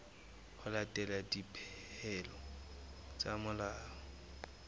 ho latela dipehelo tsa molao